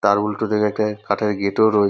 তার উল্টো দিকে একটা কাঠের গেট -ও রই--